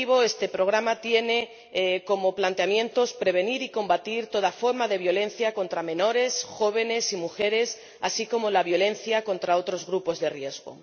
Este programa tiene como planteamiento prevenir y combatir toda forma de violencia contra menores, jóvenes y mujeres, así como la violencia contra otros grupos de riesgo.